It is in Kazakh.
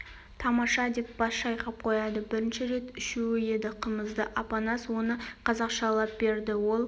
тамаша деп бас шайқап қояды бірінші рет ішуі еді қымызды апанас оны қазақшалап берді ол